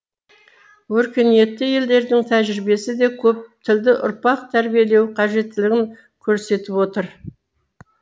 өркениетті елдердің тәжірибесі де көп тілді ұрпақ тәрбиелеу қажеттілігін көрсетіп отыр